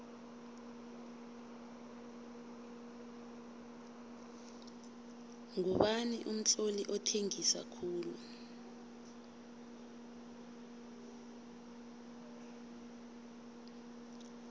ngubani umtloli othengisa khulu